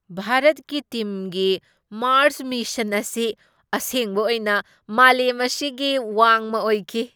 ꯚꯥꯔꯠꯀꯤ ꯇꯤꯝꯒꯤ Mars mission ꯑꯁꯤ ꯑꯁꯦꯡꯕ ꯑꯣꯏꯅ ꯃꯥꯂꯦꯝ ꯑꯁꯤꯒꯤ ꯋꯥꯡꯃ ꯑꯣꯏꯈꯤ ꯫